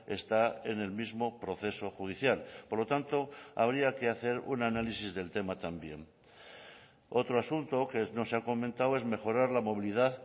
está en el mismo proceso judicial por lo tanto habría que hacer un análisis del tema también otro asunto que no se ha comentado es mejorar la movilidad